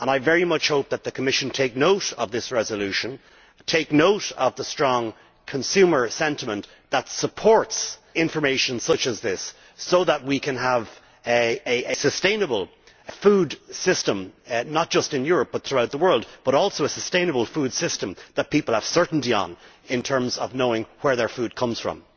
I very much hope that the Commission takes note of this resolution and takes note of the strong consumer sentiment that supports information such as this, so that we can have a sustainable food system, not just in Europe but throughout the world and also a sustainable food system that people have certainty about, in terms of knowing where their food comes from.